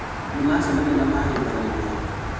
Nĩmacemania na mahĩmbanĩria